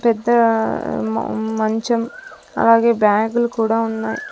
పెద్ద మ మంచం అలాగే బ్యాగు లు కూడా ఉన్నాయ్.